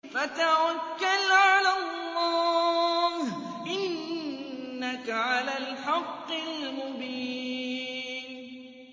فَتَوَكَّلْ عَلَى اللَّهِ ۖ إِنَّكَ عَلَى الْحَقِّ الْمُبِينِ